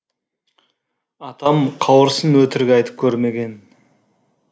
атам қауырсын өтірік айтып көрмеген